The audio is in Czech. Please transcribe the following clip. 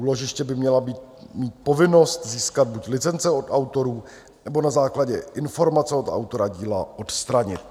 Úložiště by měla mít povinnost získat buď licence od autorů, nebo na základě informace od autora díla odstranit.